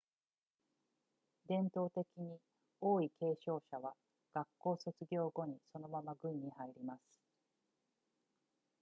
伝統的に王位継承者は学校卒業後にそのまま軍に入ります